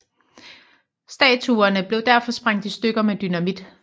Statuerne blev derfor sprængt i stykker med dynamit